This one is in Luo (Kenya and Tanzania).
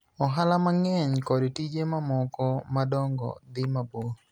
ohala mang'eny kod tije mamoko madongo dhi mabor,